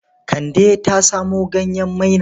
Kande ta samo ganyen maina.